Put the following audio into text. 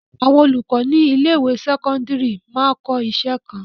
Àwọn olùkọ ní ilé-ìwé sẹ́kọ́ńdírì máa ń kọ́ iṣẹ́ kan.